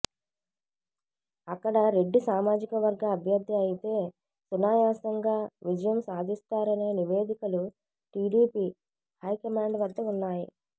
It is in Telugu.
అక్కడ రెడ్డి సామాజికవర్గ అభ్యర్థి అయితే సునాయాసంగా విజయం సాధిస్తారనే నివేదికలు టీడీపీ హైకమాండ్ వద్ద ఉన్నాయి